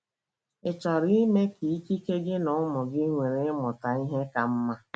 Ị̀ chọrọ ime ka ikike gị na ụmụ gị nwere ịmụta ihe ka mma?